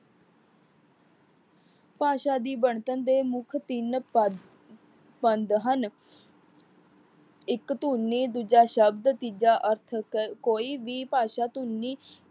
ਭਾਸ਼ਾ ਦੀ ਵਣਤਨ ਦੇ ਮੁੱਖ ਤਿੰਨ ਪਦ ਪੰਧ ਹਨ। ਇੱਕ ਧੁਨੀ, ਦੂਜਾ ਸ਼ਬਦ, ਤੀਜਾ ਅਸਤਕ ਕੋਈ ਵੀ ਭਾਸ਼ਾ ਧੁਨੀ